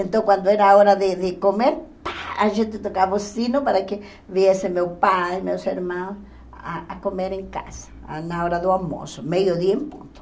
Então, quando era a hora de de comer, pá a gente tocava o sino para que viessem meu pai, meus irmãos, a a comer em casa, na hora do almoço, meio-dia em ponto.